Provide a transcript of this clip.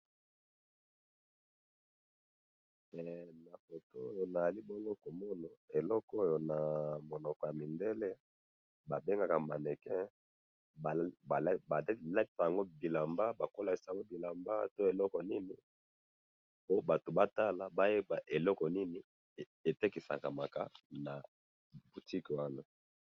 he na foto oyo nazali bongo komona eloko oyona munoko wana ya mindele ba bengaka mannequin balatisaka yango bilamba po batu bayeba eloko nini etekisamaka na boutique wana